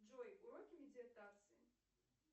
джой уроки медитации